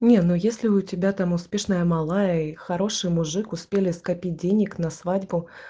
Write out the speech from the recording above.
не ну если у тебя там успешная малая и хороший мужик успели скопить денег на свадьбу